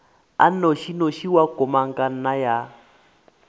a nnošinoši wa komangkanna ya